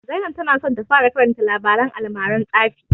Zainab ta na so ta fara karanta labaren almaran tsafi